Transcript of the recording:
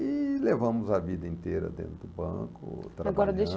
E levamos a vida inteira dentro do banco, trabalhando. Agora deixa eu